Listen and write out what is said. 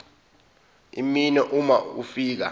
iminwe uma ufika